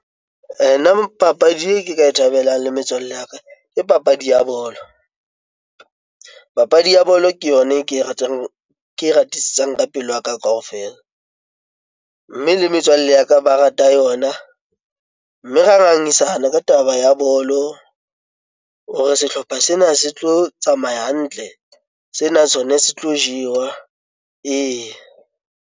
Nna papadi e ke ka e thabelang le metswalle ya ka, ke papadi ya bolo. Papadi ya bolo ke yona e ke e ratang, ke e ratisisang ka pelo ya ka kaofela. Mme le metswalle ya ka ba rata yona, mme ra ngangisana ka taba ya bolo hore sehlopha sena se tlo tsamaya hantle, sena sona se tlo jewa ee.